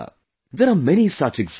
There are many such examples